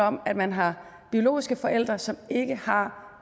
om at man har biologiske forældre som ikke har